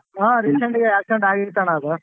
ಹ್ಮ್ recent ಆಗಿ accident ಆಗಿತ್ತಣ್ಣ ಅದು.